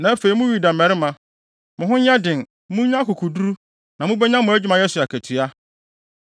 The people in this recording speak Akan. Na afei, mo Yuda mmarima, mo ho nyɛ den, munnya akokoduru, na mubenya mo adwumayɛ so akatua.”